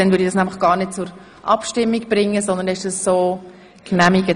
Dann bringe ich das gar nicht zur Abstimmung, sondern es ist so von Ihnen genehmigt.